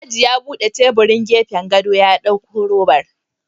Alhaji ya bude tebirin gefen gado ya dauko robar